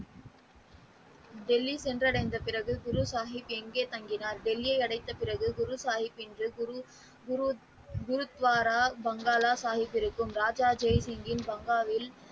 டெல்லி சென்று அடைந்த பிறகு குருசாகிப் எங்கே தங்கினார் டெல்லியை அடைந்த பிறகு குருசாகிப் என்று குரு குரு துவாரா வங்காள சாகிப்பிற்கும் ராஜா ஜெய்சிங் பங்களாவில்.